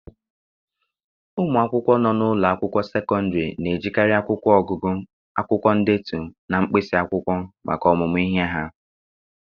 Ụmụ akwụkwọ nọ n'ụlọ akwụkwọ sekọndịrị na-ejikarị akwụkwọ ọgụgụ, akwụkwọ ndetu, na mkpịsị akwụkwọ maka ọmụmụ ihe ha.